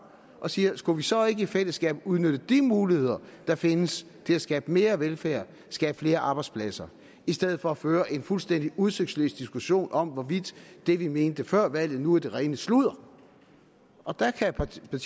og siger skulle vi så ikke i fællesskab udnytte de muligheder der findes til at skabe mere velfærd skabe flere arbejdspladser i stedet for at føre en fuldstændig udsigtsløs diskussion om hvorvidt det vi mente før valget nu er det rene sludder og der kan partierne